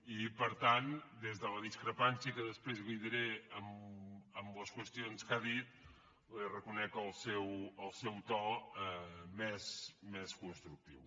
i per tant des de la discrepància que després li diré en les qüestions que ha dit li reconec el seu to més constructiu